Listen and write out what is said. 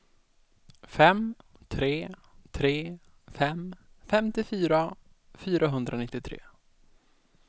fem tre tre fem femtiofyra fyrahundranittiotre